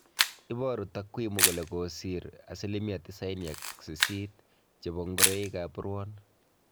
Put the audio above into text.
Iboru takwimu kole kokisir 98% chebo ngoroik ab ruon